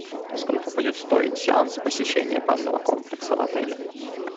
сколько будет стоить сеанс посещения банного комплекса в отеле